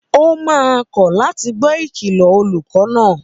Ó máa kọ̀ láti gbọ́ Ìkìlọ̀ olùkọ́ náà